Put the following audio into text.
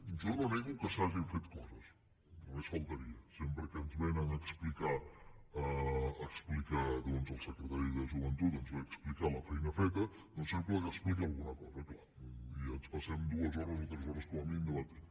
jo no nego que s’hagin fet coses només faltaria sempre que ens vénen a explicar doncs el secretari de joventut ens ve a explicar la feina feta sempre explica alguna cosa clar i ens passem dues hores o tres hores com a mínim debatent